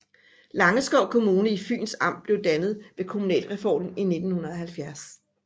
Langeskov Kommune i Fyns Amt blev dannet ved kommunalreformen i 1970